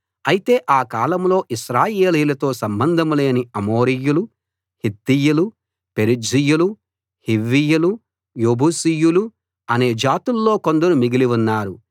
అయితే ఆ కాలంలో ఇశ్రాయేలీయులతో సంబంధంలేని అమోరీయులు హిత్తీయులు పెరిజ్జీయులు హివ్వీయులు యెబూసీయులు అనే జాతుల్లో కొందరు మిగిలి ఉన్నారు